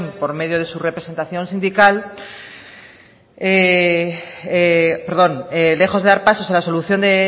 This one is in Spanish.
por medio de su representación sindical perdón lejos de dar pasos a la solución de